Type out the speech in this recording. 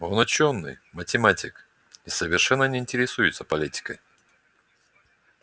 он учёный математик и совершенно не интересуется политикой